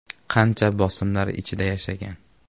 Qancha bosimlar ichida yashagan.